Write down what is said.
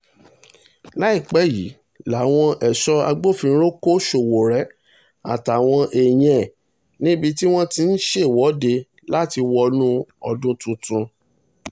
láìpẹ́ yìí làwọn ẹ̀ṣọ́ agbófinró kọ́ sowore àtàwọn èèyàn ẹ̀ níbi tí wọ́n ti ń ṣèwọ́de láti wọnú ọdún tuntun